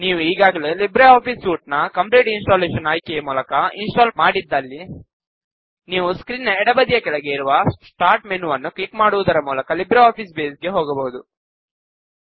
ನೀವು ಈಗಾಗಲೇ LibreOffice suite ನ್ನು ಕಂಪ್ಲೀಟ್ ಇನ್ಸ್ಟಾಲೇಷನ್ ಆಯ್ಕೆಯ ಮೂಲಕ ಇನ್ ಸ್ಟಾಲ್ ಮಾಡಿದ್ದಲ್ಲಿ ನೀವು ಸ್ಕ್ರೀನ್ ನ ಎಡಬದಿಯ ಕೆಳಗೆ ಇರುವ ಸ್ಟಾರ್ಟ್ ಮೆನುವನ್ನು ಕ್ಲಿಕ್ ಮಾಡುವುದರ ಮೂಲಕ ಲಿಬ್ರೆ ಆಫೀಸ್ ಬೇಸ್ ಗೆ ಹೋಗಬಹುದು